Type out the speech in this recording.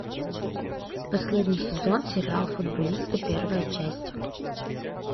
последний сезон сериал футболисты первая часть